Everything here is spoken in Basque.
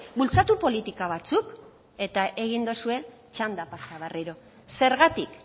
bultzatu politika batzuk eta egin dozue txanda pasa berriro zergatik